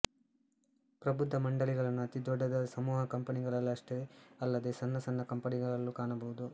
ಪ್ರಬುದ್ಧ ಮಂಡಳಿಗಳನ್ನು ಅತಿ ದೊಡ್ಡದಾದ ಸಮೂಹ ಕಂಪನಿಗಳಲ್ಲಷ್ಟೇ ಅಲ್ಲದೇ ಸಣ್ಣ ಸಣ್ಣ ಕಂಪನಿಗಳಲ್ಲೂ ಕಾಣಬಹುದು